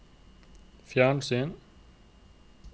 fjernsyn